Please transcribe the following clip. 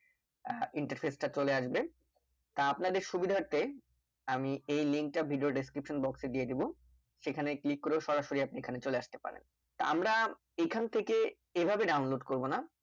আহ কিন্তু interface তা চলে আসবে তা আপনাদের সুবিতার্থে আমি এই link তা video description দিয়ে দেব সেখানে click করেও সরাসরি আপনি চলে আস্তে পারে তা আমরা এখান থেকে এইভাবে download করবোনা